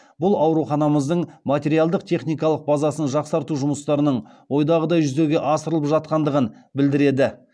бұл ауруханымыздың материалдық техникалық базасын жақсарту жұмыстарының ойдағыдай жүзеге асырылып жатқандығын білдіреді